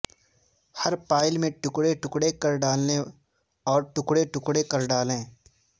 ہر pile میں ٹکڑے ٹکڑے کر ڈالنے اور ٹکڑے ٹکڑے کر ڈالیں